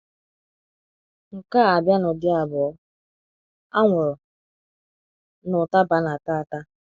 Nke a abia n’ụdị abụọ: anwụrụ na ụtaba a na - ata ata.